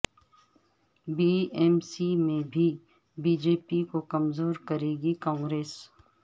be ایم سی میں بھی بی جے پی کو کمزور کرے گی کانگریس